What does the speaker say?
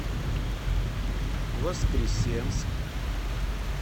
воскресенск